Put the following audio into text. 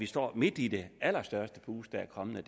står midt i det allerstørste boom der kommer i